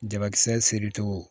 Jabakisɛ seri cogo